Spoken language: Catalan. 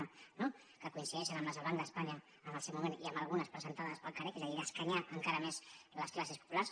no que coincideixen amb les del banc d’espanya en el seu moment i amb algunes presentades pel carec és a dir d’escanyar encara més les classes populars